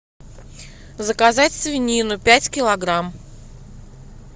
заказать свинину пять килограмм